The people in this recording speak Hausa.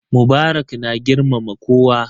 Mubarak na girmama kowa.